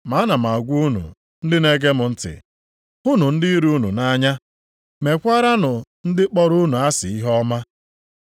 “Ma a na m agwa unu ndị na-ege m ntị: hụnụ ndị iro unu nʼanya, mekwaaranụ ndị kpọrọ unu asị ihe ọma.